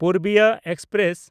Purbiya express